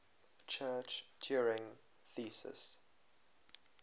church turing thesis